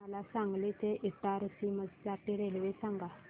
मला सांगली ते इटारसी साठी रेल्वे सांगा